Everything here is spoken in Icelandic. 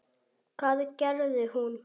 Hvað gerði hún?